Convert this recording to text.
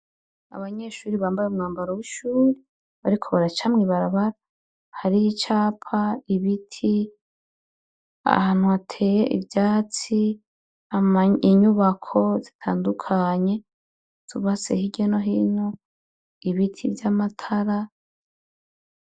Abanyeshure bambaye umwambaro w'ishure bariko baraca mw'ibarabara, hariho icapa, ibiti, ahantu hateye ivyatsi, inyubako zitandukanye zubatse hirya no hino, ibiti vy'amatara.